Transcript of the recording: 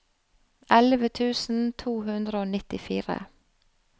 elleve tusen to hundre og nittifire